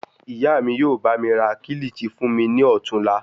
Ìyá mí yóò bá mi ra kilichi fún mi ní ọ̀tuùla.